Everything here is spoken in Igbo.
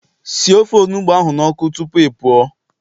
Sie ofe onugbu ahu n'oku tupu ị pụọ